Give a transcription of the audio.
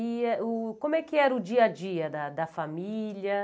E é o como é que era o dia a dia da da família?